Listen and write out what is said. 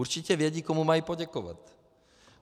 Určitě vědí, komu mají poděkovat.